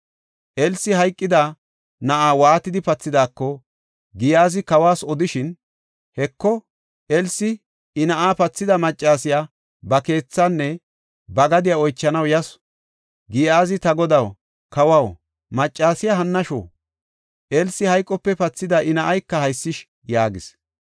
Elsi hayqida na7aa waatidi pathidaako, Giyaazi kawas odishin, Heko, Elsi I na7aa pathida maccasiya ba keethaanne ba gadiya oychanaw yasu. Giyaazi, “Ta godaw, kawaw, maccasiya hannashu; Elsi hayqope pathida I na7ayka haysish” yaagis.